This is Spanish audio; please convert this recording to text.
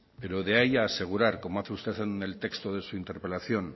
pero de ahí asegurar como hace usted en el texto de su interpelación